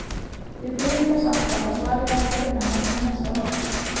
Við biðum þess alltaf að svarið væri að finna handan við næsta horn.